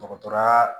Dɔgɔtɔrɔya